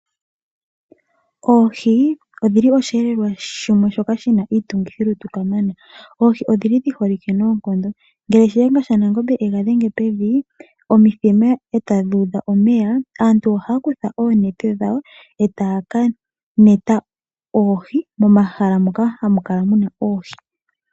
Oohi odhili oshiyelelwa shoka shina iitungithi lutu kamana. Oohi odhili dhi holike noonkondo ngele Shihenga shanaNgombe ega dhenge pevi omithima etadhi udha omeya aantu ohaya kutha oonete dhawo etaya ka neta oohi momahala moka hamu kala muna oohi.